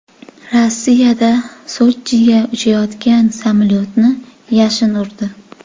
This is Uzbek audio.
Rossiyada Sochiga uchayotgan samolyotni yashin urdi.